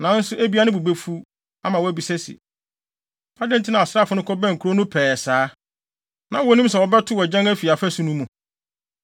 Nanso ebia ne bo befuw, ama wabisa se, ‘Adɛn nti na asraafo no kɔbɛn kurow no pɛɛ saa? Na wonnim sɛ wɔbɛtow agyan afi afasu no mu?